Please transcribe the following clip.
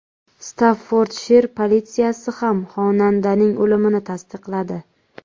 Staffordshir politsiyasi ham xonandaning o‘limini tasdiqladi.